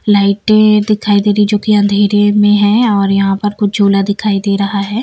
लाइटें दिखाई दे रही जो कि अंधेरे में है और यहां पर कुछ झोला दिखाई दे रहा है।